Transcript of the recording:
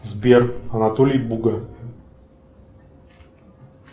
сбер анатолий буга